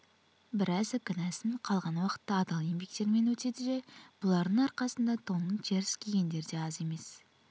біразы кінәсін қалған уақытта адал еңбектерімен өтеді де бұлардың арқасында тонын теріс кигендер де аз емес